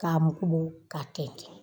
K'a mugu ka tɛnten.